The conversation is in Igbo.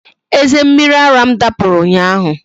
Eze mmiri ara m dapụrụ ụnyaahụ